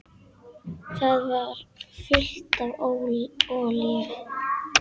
Það var fullt af olíu.